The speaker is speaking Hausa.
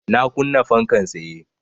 Na kunna fankan tsaye